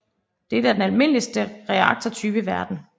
Dette er den almindeligste reaktortype i verden